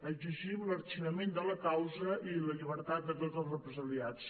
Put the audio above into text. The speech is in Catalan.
exigim l’arxivament de la causa i la llibertat de tots els represaliats